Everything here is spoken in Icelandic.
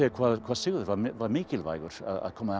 hvað Sigurður var mikilvægur að koma